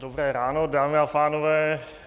Dobré ráno, dámy a pánové.